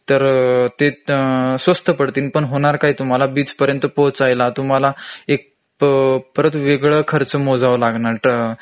तर ते स्वस्त पडतील पण होणार काय तुम्हाला बीच पर्यंत पोहोचायला तुम्हाला एक परत वेगळा खर्च मोजावा लागणार